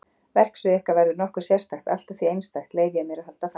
Verksvið ykkar verður nokkuð sérstakt allt að því einstakt, leyfi ég mér að halda fram.